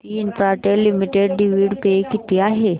Bharti Infratel limited dividend pay किती आहे